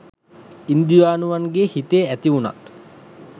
ඉන්දියානුවගේ හිතේ ඇති වුනත්